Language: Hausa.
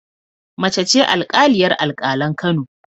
Mace ce alƙaliyar alƙalan Kano